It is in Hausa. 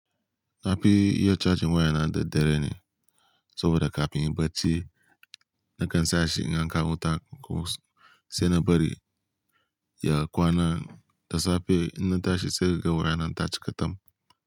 Na fi iya cajin waya na da dare ne saboda ka fim bacci. Na kan sashi in an kawo wuta ko sai na bari ya kwana da safe ina tashi sai ka ga waya na ta cika tam.